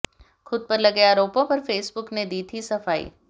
खुदपर लगे आरोपों पर फेसबुक ने दी थी सफाई